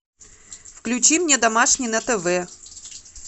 включи мне домашний на тв